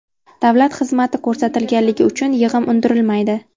Davlat xizmati ko‘rsatilganligi uchun yig‘im undirilmaydi.